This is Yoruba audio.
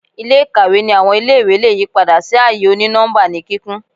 Ile-ikawe ni awọn ile-iwe le yipada si aaye oni-nọmba ni kikun